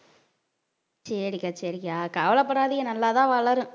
சரி சரி அக்கா கவலைப்படாதீங்க நல்லாதான் வளரும்